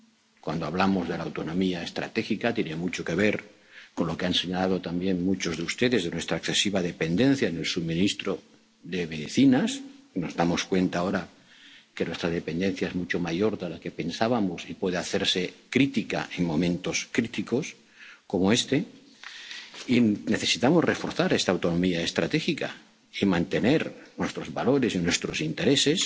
una posición propia. En cuanto a la autonomía estratégica —tiene mucho que ver con lo que han señalado también muchos de ustedes sobre nuestra excesiva dependencia en el suministro de medicinas, y nos damos cuenta ahora de que nuestra dependencia es mucho mayor de lo que pensábamos y puede hacerse crítica en momentos críticos como este—, necesitamos reforzar esta autonomía estratégica y mantener nuestros valores